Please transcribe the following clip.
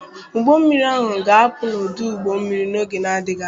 Ụgbọ mmiri ahụ ga-apụ n'ọdụ ụgbọ mmiri n'oge na-adịghị anya.